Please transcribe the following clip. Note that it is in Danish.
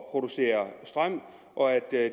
at producere strøm og at